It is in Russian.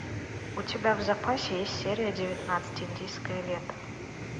у тебя в запасе есть серия девятнадцать индийское лето